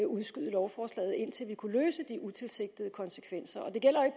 udskyde lovforslaget indtil vi kunne til de utilsigtede konsekvenser og det gælder jo